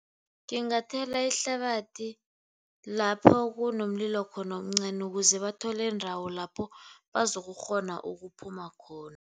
Ngingathela ihlabathi lapho kunomlilo khona omncani ukuze bathole iindawo lapho bazokukghona ukuphuma khona.